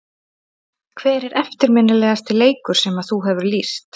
Hver er eftirminnilegasti leikur sem að þú hefur lýst?